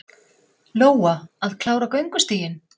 Lóa: Að klára göngustíginn?